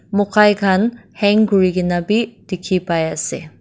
mokai khan hang kurikaena bi dikhipaiase.